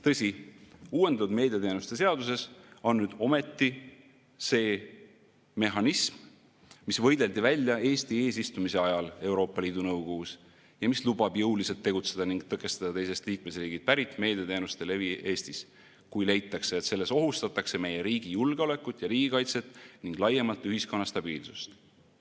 Tõsi, uuendatud meediateenuste seaduses on nüüd ometi see mehhanism, mis võideldi välja Eesti eesistumise ajal Euroopa Liidu Nõukogus ja mis lubab jõuliselt tegutseda ning tõkestada teisest liikmesriigist pärit meediateenuste levi Eestis, kui leitakse, et sellega ohustatakse meie riigi julgeolekut ja riigikaitset ning laiemalt ühiskonna stabiilsust.